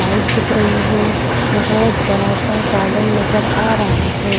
Light दिख रही है बहुत बड़ा सा गार्डन नजर आ रहा है।